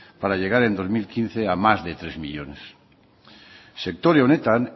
para llegar en dos mil quince a más de tres millónes sektore honetan